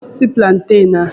Kedu onye nwe osisi plantain?